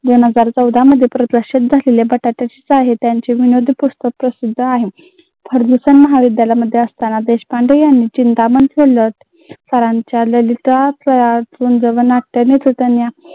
दोन हजार चौदा मध्ये प्रदर्शित झालेल्या पुस्तक प्रसिद्ध आहे. फर्ग्युसन महाविद्यालयामध्ये असतांना देशपांडे यांनी चिंतामण सरांच्या